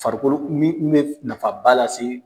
Farikolo min bɛ nafaba lase.